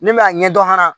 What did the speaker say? Ne bɛ a ɲɛdɔn fana